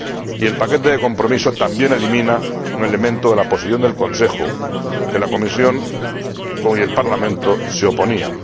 Y el paquete de compromiso también elimina un elemento de la Posición del Consejo al que la Comisión y el Parlamento se oponían.